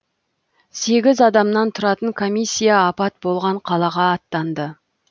сегіз адамнан тұратын комиссия апат болған қалаға аттанды